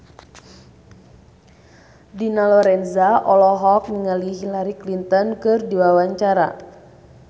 Dina Lorenza olohok ningali Hillary Clinton keur diwawancara